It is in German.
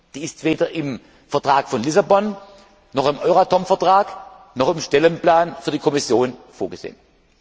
Sie ist weder im Vertrag von Lissabon noch im Euratom Vertrag noch im Stellenplan für die Kommission vorgesehen.